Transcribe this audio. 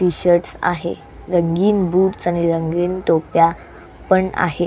T shirts आहे रंगीन boots आणि रंगीन टोप्या पण आहे.